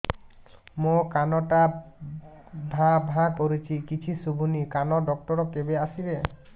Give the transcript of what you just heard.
ମୋ କାନ ଟା ଭାଁ ଭାଁ କରୁଛି କିଛି ଶୁଭୁନି କାନ ଡକ୍ଟର କେବେ ଆସିବେ